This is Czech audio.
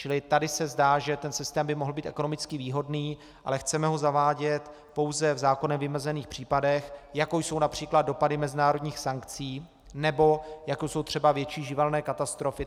Čili tady se zdá, že ten systém by mohl být ekonomicky výhodný, ale chceme ho zavádět pouze v zákonem vymezených případech, jakou jsou například dopady mezinárodních sankcí, nebo jako jsou třeba větší živelné katastrofy.